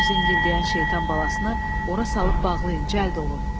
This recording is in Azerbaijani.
Bu zingildəyən şeytan balasını ora salıb bağlayın, cəld olun.